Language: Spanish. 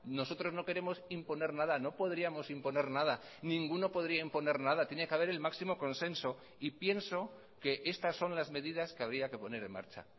nosotros no queremos imponer nada no podríamos imponer nada ninguno podría imponer nada tiene que haber el máximo consenso y pienso que estas son las medidas que habría que poner en marcha